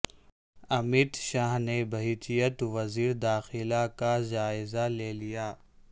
امیت شاہ نے بحیثیت وزیر داخلہ کا جائزہ لے لیا